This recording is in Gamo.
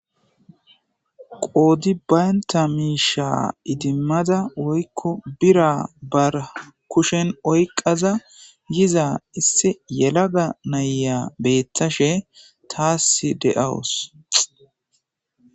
qoodi baynta miisha idimmada woykko bira bar kushen oyqaza yiza isse yelaga naya beettashe taas de7awus